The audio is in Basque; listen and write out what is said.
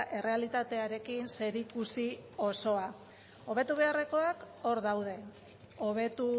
errealitatearekin zerikusi osoa hobetu beharrekoak hor daude hobetu